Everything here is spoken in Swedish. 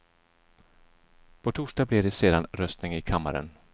På torsdag blir det sedan röstning i kammaren.